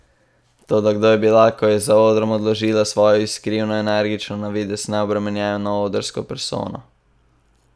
Toda kdo je bila, ko je za odrom odložila svojo iskrivo, energično, na videz neobremenjeno odrsko persono?